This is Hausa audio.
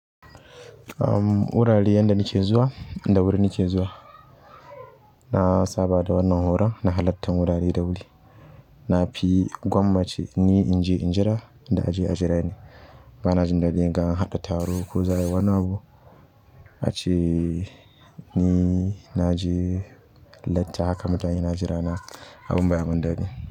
Am wurare yanda nike zuwa da wuri nike zuwa na saba da wannan horon na halattar wurare da wuri na fi gwammace ni in je in jira, da a je a jira ni. Ba na jin daɗi in ga an haɗa taro ko za ai wani abu ace ni naje latti haka mutane na jira na abun baya mun daɗi.